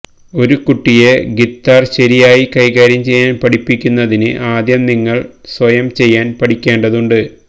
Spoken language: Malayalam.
ഒരു കുട്ടിയെ ഗിത്താർ ശരിയായി കൈകാര്യം ചെയ്യാൻ പഠിപ്പിക്കുന്നതിന് ആദ്യം നിങ്ങൾ സ്വയം ചെയ്യാൻ പഠിക്കേണ്ടതുണ്ട്